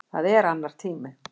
Það er annar tími.